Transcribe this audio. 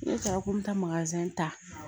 Ne cɛ ko n bɛ taa ta